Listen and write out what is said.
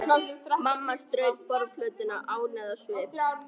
Mamma strauk borðplötuna ánægð á svip.